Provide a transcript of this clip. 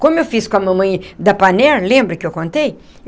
Como eu fiz com a mamãe da Panair, lembra que eu contei?